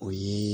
O ye